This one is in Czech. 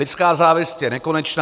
Lidská závist je nekonečná.